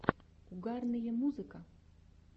угарные музыка